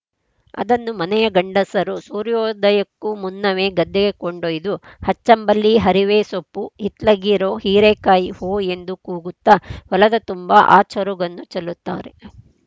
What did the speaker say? ಅದನ್ನು ಮನೆಯ ಗಂಡಸರು ಸೂರ್ಯೋದಯಕ್ಕೂ ಮುನ್ನವೆ ಗದ್ದೆಗೆ ಕೊಂಡೊಯ್ದು ಹಚ್ಚಂಬಲ್ಲಿ ಹರಿವೆ ಸೋಪ್ಪು ಹಿತ್ಲಗಿರೋ ಹೀರೆಕಾಯಿ ಹೋಯ್‌ ಎಂದು ಕೂಗುತ್ತಾ ಹೊಲದ ತುಂಬಾ ಆ ಚರುಗನ್ನು ಚೆಲ್ಲುತ್ತಾರೆ